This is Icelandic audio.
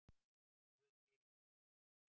Guð fyrirgefi mér orðbragðið.